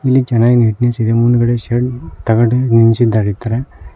ಇಲ್ಲಿ ಚೆನ್ನಾಗಿ ನೀಟ್ನೆಸ್ ಇದೆ ಮುಂದ್ಗಡೆ ಶೆಡ್ ತಗಡು ನಿಲ್ಸಿದ್ದಾರೆ ಈತರ.